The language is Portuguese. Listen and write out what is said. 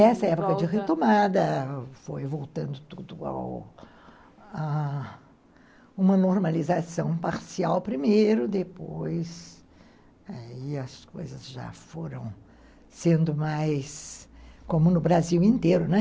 Essa época de retomada foi voltando tudo ao a uma normalização parcial primeiro, depois aí as coisas já foram sendo mais, como no Brasil inteiro, né?